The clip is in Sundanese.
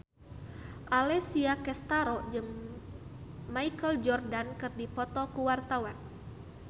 Alessia Cestaro jeung Michael Jordan keur dipoto ku wartawan